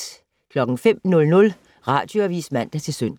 05:00: Radioavis (man-søn)